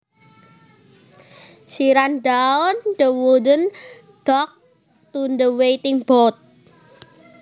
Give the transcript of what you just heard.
She ran down the wooden dock to the waiting boat